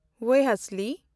ᱣᱮᱦᱟᱥᱞᱤ